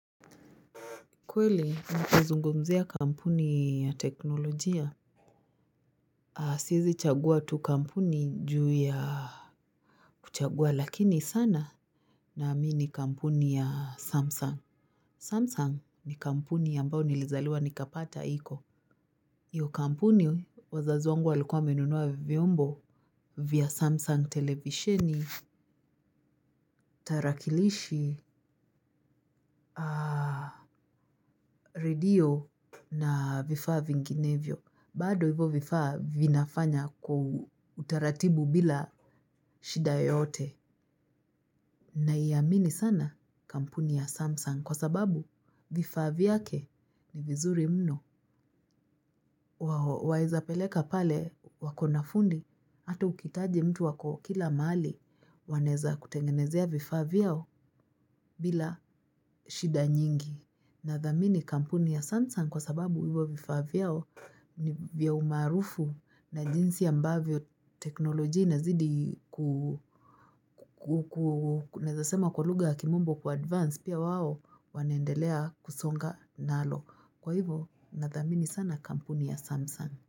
Kweli, kuzungumzua kampuni ya teknolojia, siwezi chagua tu kampuni juu ya kuchagua, lakini sana ninaipenda kampuni ya Samsung. Samsung ni kampuni ambao nilizaliwa nikapata iko. Hiyo kampuni, wazazi wangu walikuwa wamenunua vyombo vya Samsung: televisheni, tarakilishi. Redio na vifaa vinginevyo. Bado hivyo vifaa vinafanya kwa utaratibu bila shida yoyote. Naiamini sana kampuni ya Samsung kwa sababu vifaa vyake ni vizuri mno. Waweza peleka pale wakona fundi, ata ukihitaji mtu ako kila mahali, wanaweza kutengenezea vifaa vyao bila shida nyingi. Nathamini kampuni ya Samsung kwa sababu hivyo vifaa vyao ni vya umaarufu na jinsi ambavyo teknolojia inazidi kukua, naweza kusema kwa lugha ya kimombo kuadvance, pia wao wanaendelea kusonga nalo. Kwa hivo nathamini sana kampuni ya Samsung.